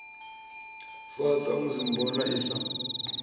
fa samusi mboma i sa